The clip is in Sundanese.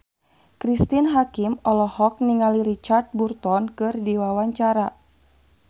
Cristine Hakim olohok ningali Richard Burton keur diwawancara